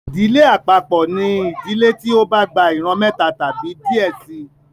Ìdílé àpapọ ní ìdílé tí o bà gbà ìran méta tàbí díẹ síi